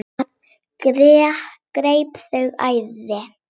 Það greip þau æði.